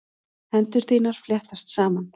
Hendur þínar fléttast saman.